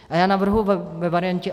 A já navrhuji ve variantě